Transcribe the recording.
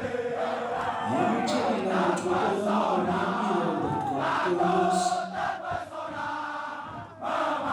Yemeche inai ngot kokoyomyo komye iro ngot koildos